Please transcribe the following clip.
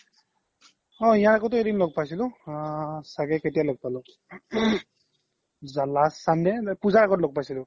অ ইয়াৰ আগ্তে এদিন লগ পাইছিলো আ চাগে কেতিয়া লগ পালো last sunday নে পুজাৰ আগত লগ পাইছিলো